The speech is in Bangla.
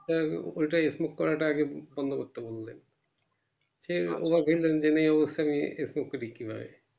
doctor ওটাই smoke করাটাই আরকি বন্ধ করতে বললে সেই smoke করি কিভাবে